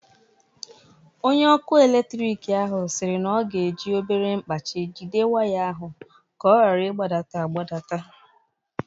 Onye ọkụ eletrik ahụ siri na ọ ga-eji obere mkpachị jide waya ahụ ka ọ ghara ịgbadata agbata-